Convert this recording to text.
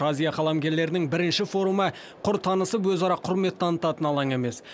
азия қаламгерлерінің бірінші форумы құр танысып өзара құрмет танытатын алаң емес